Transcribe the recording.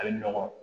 A bɛ nɔgɔ